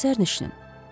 Hansı sərnişinin?